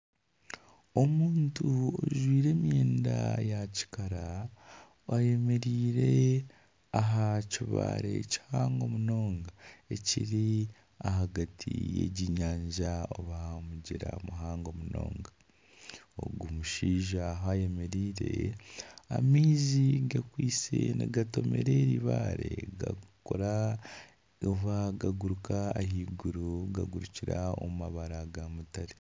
Omuntu ajwire emyenda ya kikara ayemereire aha kibare kihango munonga ekiri ahagati y'egi nyanja oba omugyera muhango munonga. Ogu mushaija ahu ayemereire, amaizi gakwitse nigatomera eri bare gakora oba gaguruka ahaiguru gagurukira omu mabara ga mutare.